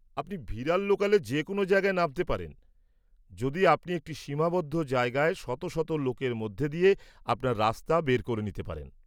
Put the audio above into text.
আপনি ভিরার লোকালে যে কোনও জায়গায় নামতে পারেন যদি আপনি একটি সীমাবদ্ধ জায়গায় শত শত লোকের মধ্যে দিয়ে আপনার রাস্তা বার করে নিতে পারেন।